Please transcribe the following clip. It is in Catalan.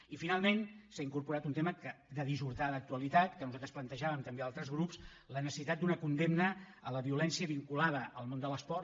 i finalment s’hi ha incorporat un tema de dissortada actualitat que nosaltres plantejàvem també altres grups la necessitat d’una condemna a la violència vinculada al món de l’esport